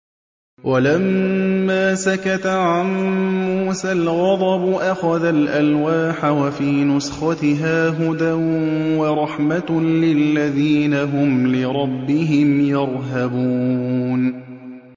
وَلَمَّا سَكَتَ عَن مُّوسَى الْغَضَبُ أَخَذَ الْأَلْوَاحَ ۖ وَفِي نُسْخَتِهَا هُدًى وَرَحْمَةٌ لِّلَّذِينَ هُمْ لِرَبِّهِمْ يَرْهَبُونَ